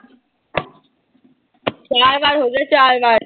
ਚਾਰ ਵਾਰ ਹੋਗਿਆ ਚਾਰ ਵਾਰ।